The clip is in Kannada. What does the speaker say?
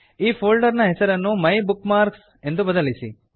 ಈ ಫೋಲ್ಡರ್ ನ ಹೆಸರನ್ನು ಮೈಬುಕ್ಮಾರ್ಕ್ಸ್ ಮೈ ಬುಕ್ ಮಾರ್ಕ್ಸ್ ಎಂದು ಬದಲಿಸಿ